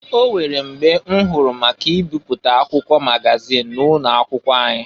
O nwere mgbe m hụrụ maka mbịpụta akwụkwọ magazin ụnọakwụkwọ anyị.